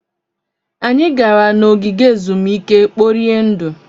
Anyị gara na n'ogige ezumike kporie ndụ.